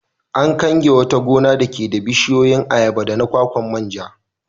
An kange wata gona dake da bishiyoyin ayaba da na kwakwa man ja.